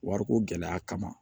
Wariko gɛlɛya kama